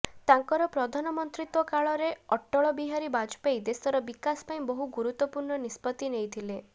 ତାଙ୍କର ପ୍ରଧାନମନ୍ତ୍ରୀତ୍ବ କାଳରେ ଅଟଳ ବିହାରୀ ବାଜପେୟୀ ଦେଶର ବିକାଶ ପାଇଁ ବହୁ ଗୁରୁତ୍ବପୁର୍ଣ୍ଣ ନିଷ୍ପତ୍ତି ନେଇଥିଲେ